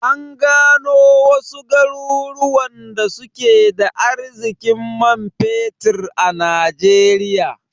An gano wasu garuruwan da suke da arzikin man fetir a najeriya